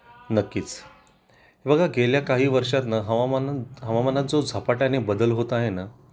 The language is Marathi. नक्कीच. हे बघा गेल्या काही वर्षांत ना हवामानात जो झपाट्या ने बदल होत आहे ना,